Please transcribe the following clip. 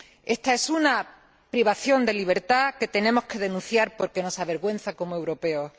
Esta es una privación de libertad que tenemos que denunciar porque nos avergüenza como europeos.